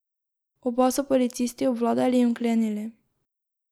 Oba so policisti obvladali in vklenili.